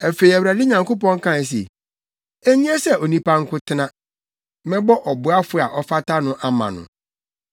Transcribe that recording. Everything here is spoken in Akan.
Afei Awurade Nyankopɔn kae se, “Enye sɛ onipa nko tena; mɛbɔ ɔboafo a ɔfata no ama no.”